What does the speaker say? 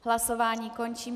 Hlasování končím.